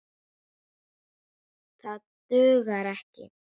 Það dugar ekki.